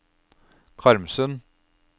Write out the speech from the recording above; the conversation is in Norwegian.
Karmsund